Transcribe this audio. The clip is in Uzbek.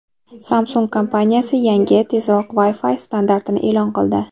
Samsung kompaniyasi yangi, tezroq Wi-Fi standartini e’lon qildi.